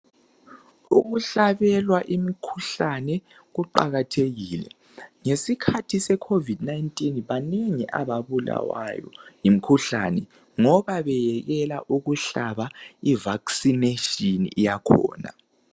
Ukuhlabelwa imikhuhlane kuqakathekile. Ngesikhathi se COVID19 banengi ababulawayo yimikhuhlane ngoba bayekela ukuhlaba i vaccination yakhona